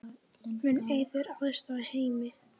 Mun Eiður aðstoða Heimi?